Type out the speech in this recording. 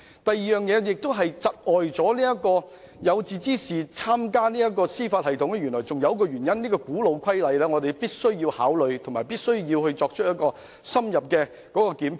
第二個窒礙有志之士加入司法機構的原因，是一項古老的規則，就是"一入侯門深似海"，我們亦必須予以考慮並作深入檢討。